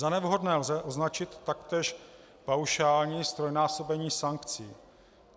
Za nevhodné lze označit taktéž paušální ztrojnásobení sankcí.